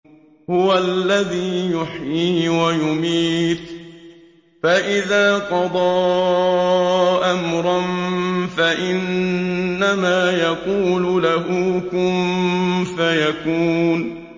هُوَ الَّذِي يُحْيِي وَيُمِيتُ ۖ فَإِذَا قَضَىٰ أَمْرًا فَإِنَّمَا يَقُولُ لَهُ كُن فَيَكُونُ